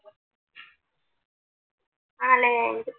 ആ അല്ലെ